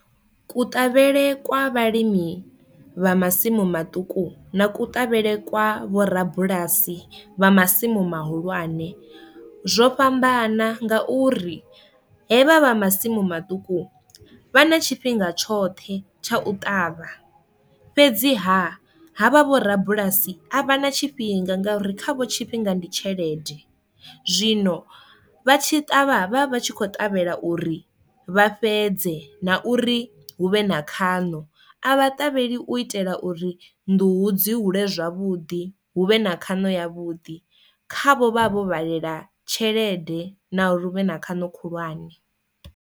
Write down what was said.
Kuṱavhele kwa vhalimi vha masimu maṱuku na kuṱavhele kwa vhorabulasi vha masimu mahulwane zwo fhambana nga uri he vhavha masimu maṱuku vha na tshifhinga tshoṱhe tsha u ṱavha fhedzi ha havha vho rabulasi a vha na tshifhinga ngauri kha vho tshifhinga ndi tshelede, zwino vha tshi ṱavha vha vha tshi kho ṱavhela uri vha fhedze na uri hu vhe na khano, a vha ṱavheli u itela uri nḓuhu dzi hule zwavhuḓi hu vhe na khono ya vhuḓi khavho vha vho vhalela tshelede na uri hu vhe na khano khulwane.